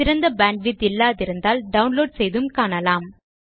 சிறந்த பேண்ட்விட்த் இல்லாதிருந்தால் டவுன்லோட் செய்தும் காணலாம்